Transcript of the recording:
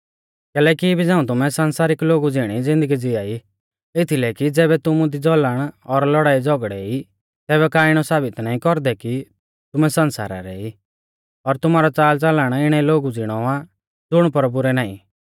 कैलैकि इबी झ़ाऊं तुमै संसारिक लोगु ज़िणी ज़िन्दगी ज़िआ ई एथीलै कि ज़ैबै तुमु दी ज़लन और लौड़ाईझ़ौगड़ै ई तैबै का इणौ साबित नाईं कौरदै कि तुमै संसारा रै ई और तुमारौ च़ालच़लन इणै लोगु ज़िणौ आ ज़ुण प्रभु रै नाईं